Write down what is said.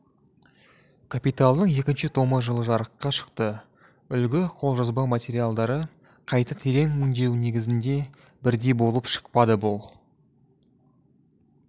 капиталдың екінші томы жылы жарыққа шықты үлгі қолжазба материалдары қайта терең өңдеу негізінде бірдей болып шықпады бұл